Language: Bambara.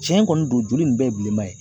Tiɲɛ kɔni don juru nin bɛɛ ye bilenma ye.